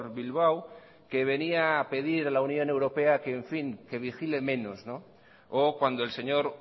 bilbao que venía a pedir a la unión europea que en fin que vigile menos o cuando el señor